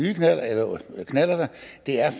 her